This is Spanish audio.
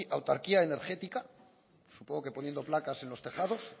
autarquía energética supongo que poniendo placas en los tejados